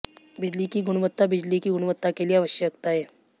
बिजली की गुणवत्ता बिजली की गुणवत्ता के लिए आवश्यकताएं